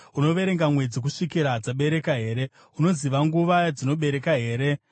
Unoverenga mwedzi kusvikira dzabereka here? Unoziva nguva yadzinobereka here?